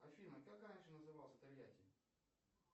афина как раньше назывался тольятти